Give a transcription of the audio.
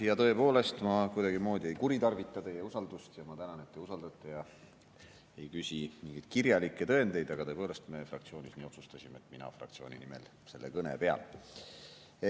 Ja tõepoolest, ma kuidagimoodi ei kuritarvita teie usaldust ja ma tänan, et te usaldate ega küsi mingeid kirjalikke tõendeid, aga tõepoolest, me fraktsioonis nii otsustasime, et mina fraktsiooni nimel selle kõne pean.